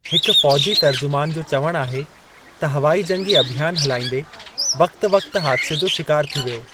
हिकु फ़ौजी तर्जुमानु जो चवणु आहे त हवाई जंगी अभियान हलाईंदे वक़्ति वक़्ति हादसे जो शिकारु थी वियो।